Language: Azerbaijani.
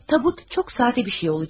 Tabut çox sadə bir şey olacaq.